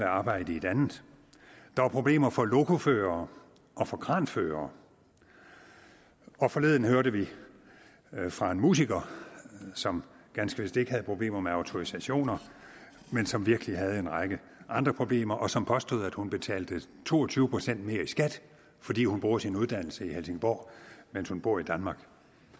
arbejde i et andet der er problemer for lokoførere og for kranførere og forleden hørte vi fra en musiker som ganske vist ikke havde problemer med autorisationer men som virkelig havde en række andre problemer og som påstod at hun betalte to og tyve procent mere i skat fordi hun bruger sin uddannelse i helsingborg mens hun bor i danmark